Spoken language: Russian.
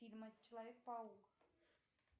фильмы человек паук